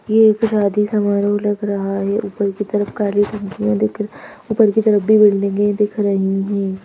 ये एक शादी समारोह लग रहा है ऊपर की तरफ काली पंखिया दिख ऊपर की तरफ भी बिल्डिंगे दिख रही है।